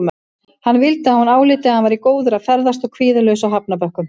Hann vildi að hún áliti að hann væri góður að ferðast og kvíðalaus á hafnarbökkum.